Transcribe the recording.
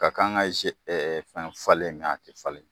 Ka kan ka fɛn falen nka' tɛ falen.